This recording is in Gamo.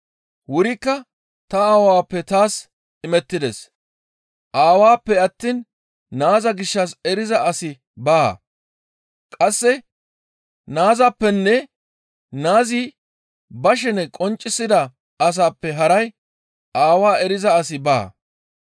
«Wurikka ta Aawappe taas imettides; Aawappe attiin Naaza gishshas eriza asi baa; qasse Naazappenne Naazi ba shenen qonccisida asappe haray aawaa eriza asi baa.